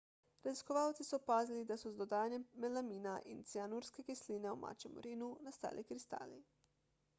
raziskovalci so opazili da so z dodajanjem melamina in cianurske kisline v mačjem urinu nastali kristali